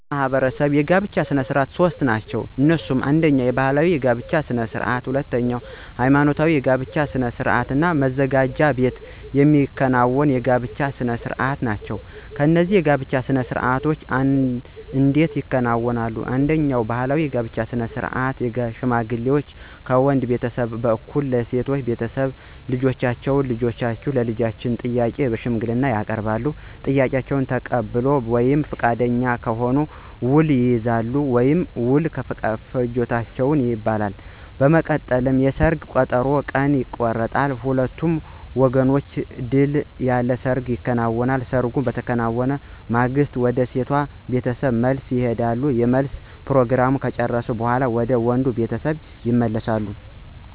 በእኛ ማህበረሰብ ባሕል መሠረት ሦስት አይነት የጋብቻ አሉ። እነሱም አነደኛ ባህላዊ የጋብቻ ስነ ስርዓት፣ ሁለተኛ ሐይማኖታዊ የጋብቻ ስነ ስርዓት እና መዘጋጃ ቤት የሚከናወኑ የጋብቻ ስነ ስርዓት አይነቶች ናቸው። እነዚህ የጋብቻ ስነ ስርዓቶች እንዴት ይከናወናሉ፣ አንደኛው ባህላዊ የጋብቻ ስነ ስርዓት ሽማግሌ ከወንድ ቤተሰብ በኩል ለሴቷ ቤተሰብ ልጃችሁን ለልጃችን የሚል ጥያቄ በሽማግሌዎች ይቀርባል፤ ጥያቄውን ከተቀበሉ ወይም ፈቃደኛ ከሆኑ ውል ይይዛሉ ወይም ውል ፈጅተዋል ይባላል። በመቀጠልም የሰርግ ቀጠሮ ቀን ይቆረጥና በሁለቱም ወገኖች ድል ያለ ሰርግ ይከናወናል። ሰርጉ በተከናወነ በማግስቱ ወደ ሴቷ ቤተሰብ መልስ ይሄዳሉ የመልስ ፕሮግራሙን ከጨረሱ በኋላ ወደ ወንዱ ቤተሰብ ይመለሳሉ።